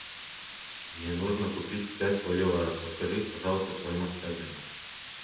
мне нужно купить пять боливаров подскажи пожалуйста стоимость обмена